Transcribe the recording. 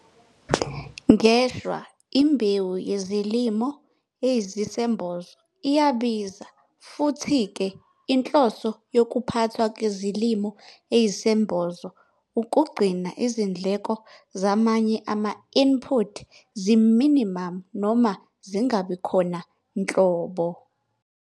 Ngeshwa imbewu yezilimo eziyisembozo iyabiza futhi ke inhloso yokuphathwa kwezilimo eziyisembozo ukugcina izindleko zamanye ama-input zi-minimum, noma zingabikhona nhlobo.